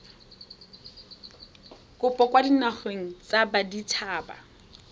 kopo kwa dinageng tsa baditshaba